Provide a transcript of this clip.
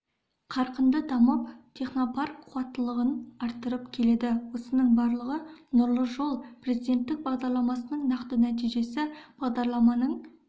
қарқынды дамып технопарк қуаттылығын арттырып келеді осының барлығы нұрлы жол президенттік бағдарламасының нақты нәтижесі бағдарламаның